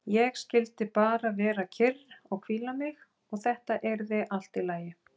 Ég skyldi bara vera kyrr og hvíla mig og þetta yrði allt í lagi.